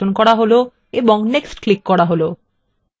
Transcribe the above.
এবং next click করা হল